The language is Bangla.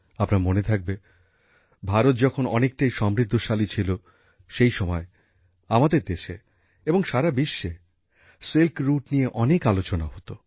আপনাদের মনে থাকবে ভারত যখন অনেকটাই সমৃদ্ধশালী ছিল সেই সময় আমাদের দেশে এবং সারা বিশ্বে সিল্ক রুট নিয়ে অনেক আলোচনা হতো